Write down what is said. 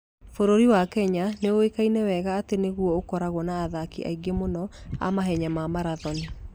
Bũrũri wa Kenya nĩ ũĩkaine wega atĩ nĩ guo ũkoragwo na athaki aingĩ mũno a mahenya ma marathon.